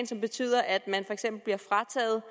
som betyder at eksempel bliver frataget